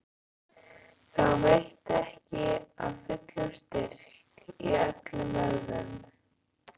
Þá veitti ekki af fullum styrk í öllum vöðvum.